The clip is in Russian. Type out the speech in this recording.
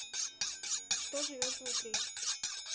что живет внутри